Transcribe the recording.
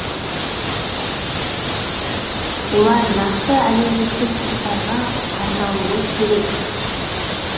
олар нақты әлеуметтік топтарға арналуы керек